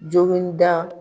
Joginida.